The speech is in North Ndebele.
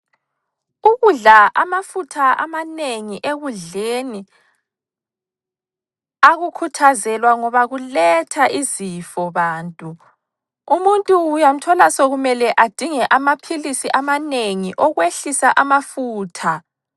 Ukudla amafutha amanengi ekudleni akukhuthazelwa ngoba kuletha izifo bantu. Umuntu uyamthola sekumele adinge amaphilisi amanengi okwehlisa amafutha.